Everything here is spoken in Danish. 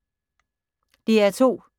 DR P2